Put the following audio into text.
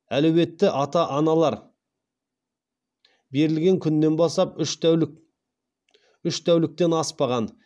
әлеуетті ата аналар берілген күнінен бастап үш тәуліктен аспаған